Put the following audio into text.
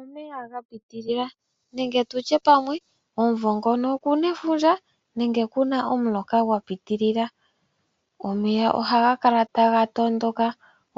Omeya ga pitilila nenge tutye pamwe omumvo ngono okuna efundja nenge kuna omuloka gwa pitilila, omeya ohaga kala taga tondoka,